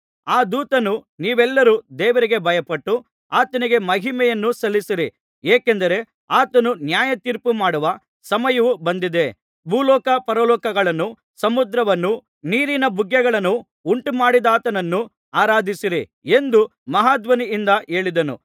ಆ ದೂತನು ನೀವೆಲ್ಲರೂ ದೇವರಿಗೆ ಭಯಪಟ್ಟು ಆತನಿಗೆ ಮಹಿಮೆಯನ್ನು ಸಲ್ಲಿಸಿರಿ ಏಕೆಂದರೆ ಆತನು ನ್ಯಾಯತೀರ್ಪು ಮಾಡುವ ಸಮಯವು ಬಂದಿದೆ ಭೂಲೋಕ ಪರಲೋಕಗಳನ್ನೂ ಸಮುದ್ರವನ್ನೂ ನೀರಿನ ಬುಗ್ಗೆಗಳನ್ನೂ ಉಂಟುಮಾಡಿದಾತನನ್ನು ಆರಾಧಿಸಿರಿ ಎಂದು ಮಹಾಧ್ವನಿಯಿಂದ ಹೇಳಿದನು